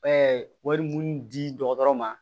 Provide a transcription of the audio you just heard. wari mun di dɔgɔtɔrɔ ma